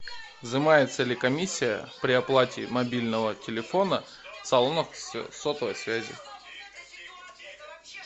взимается ли комиссия при оплате мобильного телефона в салонах сотовой связи